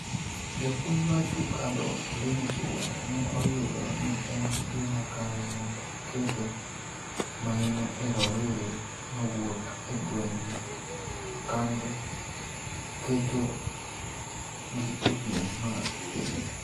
japuonj mar tuk adhong Linus Ouma ne oyudo ni en gima kare mondo oketo maino e rowere mawuok e gweng kando keto gi e piem mar piny